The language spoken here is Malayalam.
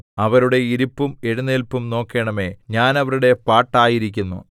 അവരുടെ ഇരിപ്പും എഴുന്നേല്പും നോക്കേണമേ ഞാൻ അവരുടെ പാട്ടായിരിക്കുന്നു